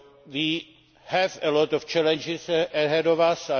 We have a lot of challenges ahead of us.